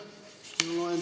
Palun!